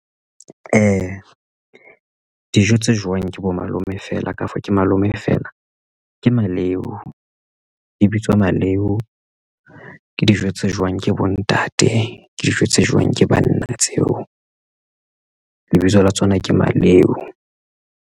Dijo tse jewang ke bo malome fela ka for ke malome feela ke maleu e bitswa maleu ke dijo tse jewang ke bontate ke dijo tse jewang ke banna tseo lebitso la tsona ke maleu.